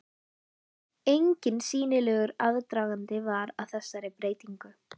Enginn sýnilegur aðdragandi var að þessari breytingu.